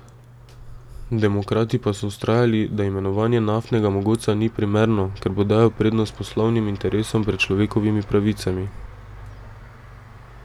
Demokrati pa so vztrajali, da imenovanje naftnega mogotca ni primerno, ker bo dajal prednost poslovnim interesom pred človekovimi pravicami.